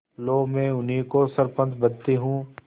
लो मैं उन्हीं को सरपंच बदती हूँ